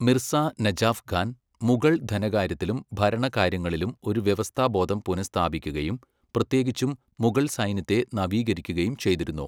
മിർസാ നജാഫ് ഖാൻ മുഗൾധനകാര്യത്തിലും ഭരണകാര്യങ്ങളിലും ഒരു വ്യവസ്ഥാബോധം പുനഃസ്ഥാപിക്കുകയും, പ്രത്യേകിച്ചും മുഗൾസൈന്യത്തെ നവീകരിക്കുകയും ചെയ്തിരുന്നു.